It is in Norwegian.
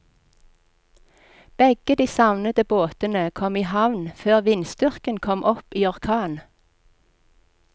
Begge de savnede båtene kom i havn før vindstyrken kom opp i orkan.